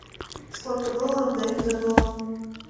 сколько долларов дают за доллар